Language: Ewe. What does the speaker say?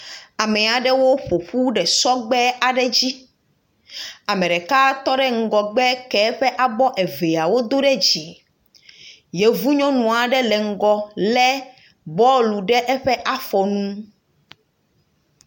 Ame aɖewo ƒoƒu ɖe sɔgbe aɖe dzi. Ame ɖeka tɔ ɖe ŋgɔgbe ke eƒe abɔ eveawo do ɖe dzi. Yevunyɔnua ɖe le ŋgɔgbe le bɔlu ɖe eƒe afɔnu.